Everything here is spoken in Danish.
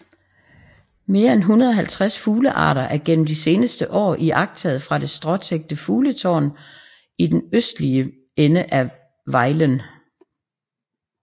Mere end 150 fuglearter er gennem de seneste år iagttaget fra det stråtækte fugletårn i den østlige ende af Vejlen